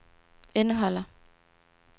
indeholder